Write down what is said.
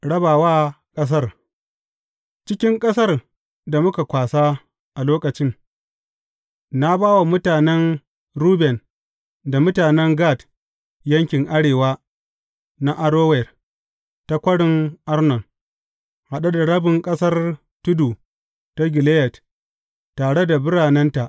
Rabawa ƙasar Cikin ƙasar da muka kwasa a lokacin, na ba wa mutanen Ruben da mutanen Gad yankin arewa na Arower ta Kwarin Arnon, haɗe da rabin ƙasar tudu ta Gileyad, tare da biranenta.